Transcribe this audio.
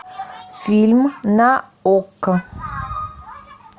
фильм на окко